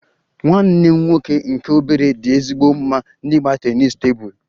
Nwanne m nwoke nke obere dị ezigbo mma n'ịgba tennis tebụl